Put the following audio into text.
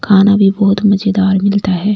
खाना भी बहुत मजेदार मिलता है।